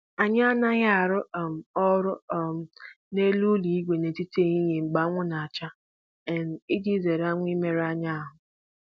Anyị anaghị arụ um ọrụ um n’elu ụlọ ígwè n’etiti ehihie mgbe anwụ na-acha um iji zere anwụ ịmerụ anyị ahụ